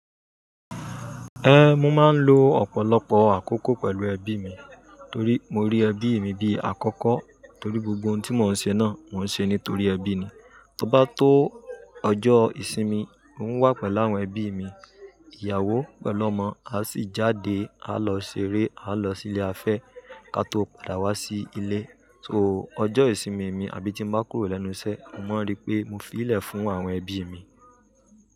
Ẹhn, mo máa ń lo ọ̀pọ̀lọpọ̀ àkókò pẹ̀lú ẹbí mi, torí mo rí ẹbí mi bí àkọ́kọ́, torí gbogbo ohun tí mo ń ṣe náà, mo ń ṣe nítorí ẹbí mi. Tí ó bá tó ọjọ́ ìsinmi, mo ń wà pẹ̀lú àwọn ẹbí mi, ìyàwó pẹ̀lú ọmọ, a sì jáde, a lọ ṣeré, a lọ sí ilé afẹ́ ká tó padà wá sí ilé. So, ọjọ́ ìsinmi mi, àbí tí mo bá kúrò lẹ́nu iṣẹ́, mo máa ń rí pé mo fi í lè fún àwọn ẹbí mi.